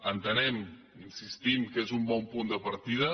entenem hi insistim que és un bon punt de partida